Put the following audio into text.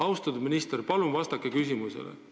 Austatud minister, palun vastake küsimusele!